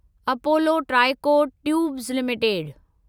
Apollo Tricot Tubes limited